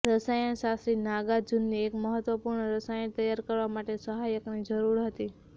રસાયણશાસ્ત્રી નાગાર્જુનને એક મહત્વપૂર્ણ રસાયણ તૈયાર કરવા માટે સહાયકની જરૂર હતી